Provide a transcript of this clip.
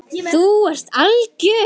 Þú ert algjör!